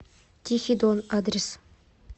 тихий дон адрес